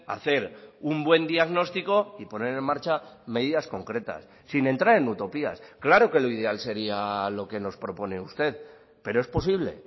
hacer un buen diagnóstico y poner en marcha medidas concretas sin entrar en utopías claro que lo ideal sería lo que nos propone usted pero es posible